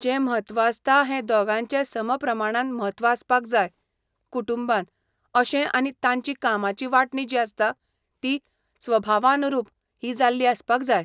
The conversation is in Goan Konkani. जें म्हत्व आसता हें दोगांचें समप्रमाणान म्हत्व आसपाक जाय, कुटुंबान, अशें आनी तांची कामाची वांटणी जी आसता ती स्वभावानुरूप ही जाल्ली आसपाक जाय.